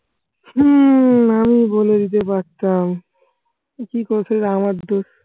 হম আমি বলে দিতে পারতাম। কি করা সব আমার দোষ।